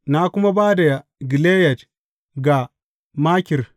Na kuma ba da Gileyad ga Makir.